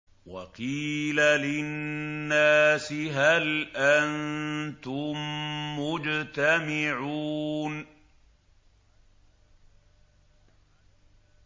وَقِيلَ لِلنَّاسِ هَلْ أَنتُم مُّجْتَمِعُونَ